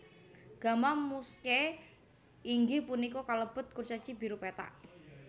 Gamma Muscae inggih punika kalebet kurcaci biru pethak